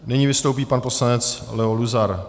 Nyní vystoupí pan poslanec Leo Luzar.